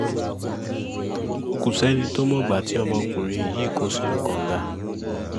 kò sẹ́ni tó mọ̀gbà tí ọmọkùnrin yìí kó sínú kànga